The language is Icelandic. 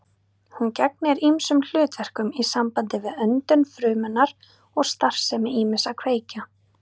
Hún gegnir ýmsum hlutverkum í sambandi við öndun frumunnar og starfsemi ýmissa kveikja.